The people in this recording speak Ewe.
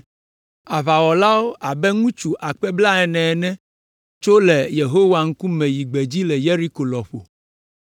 Aʋawɔlawo abe ŋutsu akpe blaene ene tso eme le Yehowa ŋkume yi gbedzi le Yeriko lɔƒo.